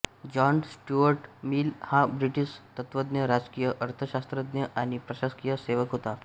John Stuart Mill हा British तत्त्वज्ञ राजकीय अर्थशास्त्रज्ञ आणि प्रशासकीय सेवक होता